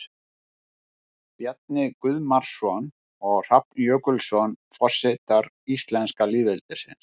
Bjarni Guðmarsson og Hrafn Jökulsson, Forsetar íslenska lýðveldisins.